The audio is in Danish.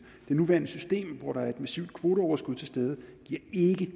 det nuværende system hvor der er et massivt kvoteoverskud til stede giver ikke i